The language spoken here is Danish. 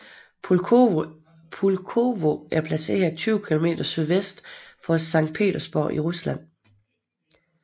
Pulkovo er placeret 20 km sydvest for Sankt Petersborg i Rusland